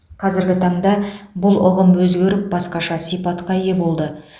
қазіргі таңда бұл ұғым өзгеріп басқаша сипатқа ие болды